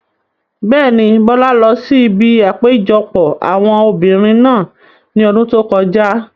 Bẹ́ẹ̀ni, Bọ́lá lọ sí ibi àpéjọpọ̀ àwọn obìrin náà ní ọdún tó kọjá